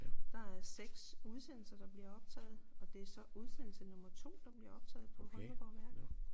Der er 6 udsendelser der bliver optaget og det er så udsendelse nummer 2 der bliver optaget på Holmegaard Værk